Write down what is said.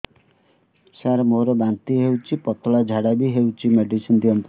ସାର ମୋର ବାନ୍ତି ହଉଚି ପତଲା ଝାଡା ବି ହଉଚି ମେଡିସିନ ଦିଅନ୍ତୁ